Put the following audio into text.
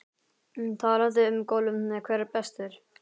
Talandi um golfið hver er bestur?